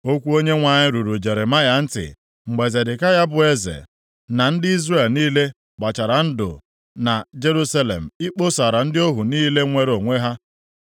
Okwu Onyenwe anyị ruru Jeremaya ntị mgbe Zedekaya bụ eze, na ndị Izrel niile gbachara ndụ na Jerusalem ịkpọsara ndị ohu niile nwere onwe ha.